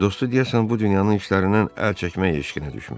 Dostu deyəsən bu dünyanın işlərindən əl çəkmək eşqinə düşmüşdü.